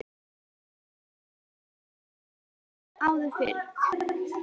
Það gerðist oft hér áður fyrr.